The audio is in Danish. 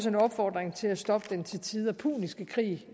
en opfordring til at stoppe den til tider puniske krig